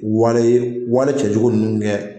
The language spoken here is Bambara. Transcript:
Wale wale cɛjugu ninnu kɛ